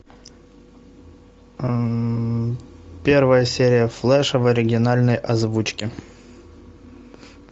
первая серия флэша в оригинальной озвучке